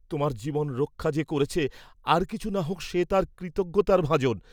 তোমার জীবন রক্ষা যে করেছে আর কিছু না হোক্ সে তাঁর কৃতজ্ঞতার ভাজন।